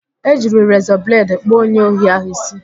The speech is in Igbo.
E jiri rezọ bledị kpụọ onye ohi ahụ ísí